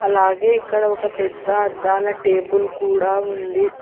అలాగే ఇక్కడ ఒక పెద్ద అద్దాల టేబుల్ కూడా ఉంది.